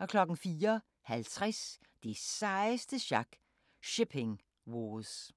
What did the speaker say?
04:50: Det sejeste sjak – Shipping Wars